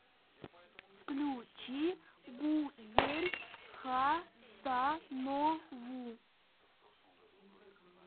включи гузель хасанову